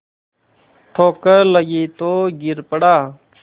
ठोकर लगी तो गिर पड़ा